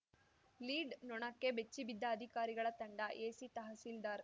lead ನೊಣಕ್ಕೆ ಬೆಚ್ಚಿ ಬಿದ್ದ ಅಧಿಕಾರಿಗಳ ತಂಡ ಎಸಿ ತಹಸೀಲ್ದಾರ್‌